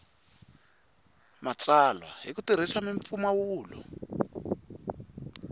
matsalwa hi ku tirhisa mimpfumawulo